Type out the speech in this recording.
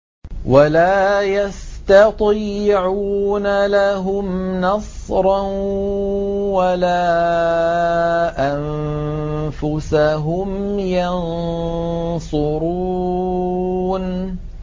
وَلَا يَسْتَطِيعُونَ لَهُمْ نَصْرًا وَلَا أَنفُسَهُمْ يَنصُرُونَ